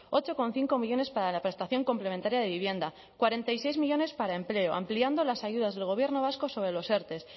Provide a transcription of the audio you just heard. ocho coma cinco millónes para la prestación complementaria de vivienda cuarenta y seis millónes para empleo ampliando las ayudas del gobierno vasco sobre los erte